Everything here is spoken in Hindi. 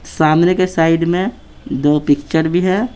सामने के साइड में दो पिक्चर भी है।